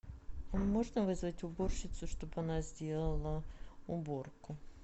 можно вызвать уборщицу чтобы она сделала уборку